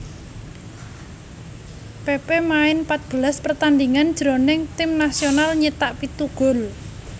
Pepe main pat belas pertandhingan jroning tim nasional nyithak pitu gol